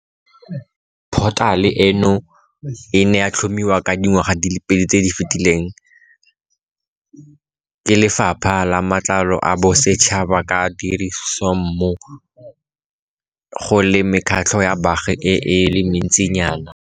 Phothale eno e ne ya tlhomiwa dingwaga di le pedi tse di fetileng ke Lefapha la Matlotlo a Bosetšhaba ka tirisanommo go le mekgatlho ya baagi e le mentsinyana.